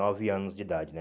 Nove anos de idade, né?